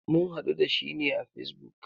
Mun haɗu da shi ne a facebook.